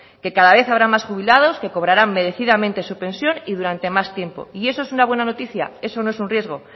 que cada vez habrá más jubilados que cobraran merecidamente su pensión y durante más tiempo y eso es una buena noticia eso no es un riesgo